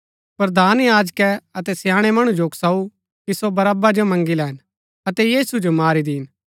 प्रधान याजकै अतै स्याणै मणु जो उकसाऊ कि सो बरअब्बा जो मँगी लैन अतै यीशु जो मारी दीन